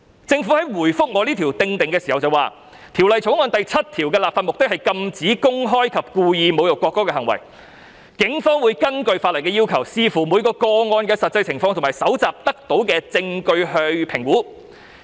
政府就我這項修正案回覆表示，《條例草案》第7條的立法目的是禁止公開及故意侮辱國歌的行為，警方會根據法例的要求，視乎每個個案的實際情況及搜集得到的證據作評估。